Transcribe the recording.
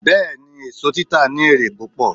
Bẹ́ẹ̀ni, èso títa ní èrè púpọ̀